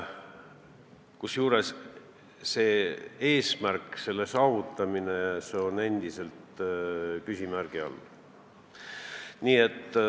Kusjuures selle eesmärgi saavutamine on ikkagi küsimärgi all.